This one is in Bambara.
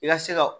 I ka se ka